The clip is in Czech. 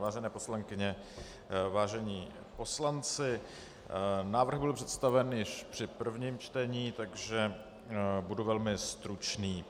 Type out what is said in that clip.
Vážené poslankyně, vážení poslanci, návrh byl představen již při prvním čtení, takže budu velmi stručný.